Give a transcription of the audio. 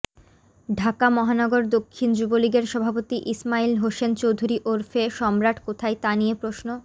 ঢাকা মহানগর দক্ষিণ যুবলীগের সভাপতি ইসমাইল হোসেন চৌধুরী ওরফে সম্রাট কোথায় তা নিয়ে প্রশ্ন